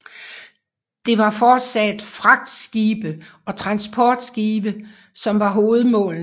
Det var fortsat fragtskibe og transportskibe som var hovedmålene